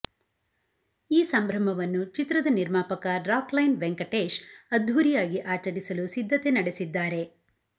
ಈ ಸಂಭ್ರಮವನ್ನು ಚಿತ್ರದ ನಿರ್ಮಾಪಕ ರಾಕ್ ಲೈನ್ ವೆಂಕಟೇಶ್ ಅದ್ದೂರಿಯಾಗಿ ಆಚರಿಸಲು ಸಿದ್ಧತೆ ನಡೆಸಿದ್ದಾರೆ